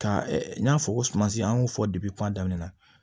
Ka n y'a fɔ ko sumasi an y'o fɔ kuma daminɛ na